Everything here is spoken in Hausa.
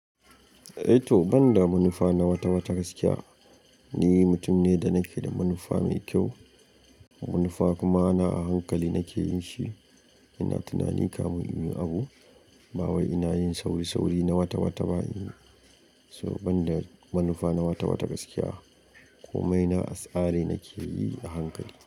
Eh to banda manufa na wata-wata gaskiya, ni mutum ne da nake da manufa mai kyau. Manufa kuma na a hankali nake yin shi. Ina tunani kafin in yi abu, ba wai ina yin sauri-sauri na wata-wata ba. So banda manufa na wata-wata gaskiya, komai na atsari nake yi a hankali.